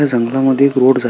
त्या जंगलामध्ये एक रोड जात --